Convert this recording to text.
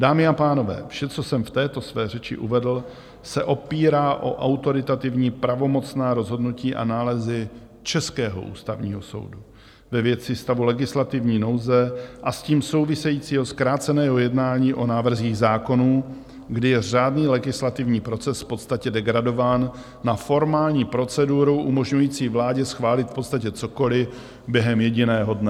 Dámy a pánové, vše, co jsem v této své řeči uvedl, se opírá o autoritativní pravomocná rozhodnutí a nálezy českého Ústavního soudu ve věci stavu legislativní nouze a s tím souvisejícího zkráceného jednání o návrzích zákonů, kdy je řádný legislativní proces v podstatě degradován na formální proceduru umožňující vládě schválit v podstatě cokoliv během jediného dne.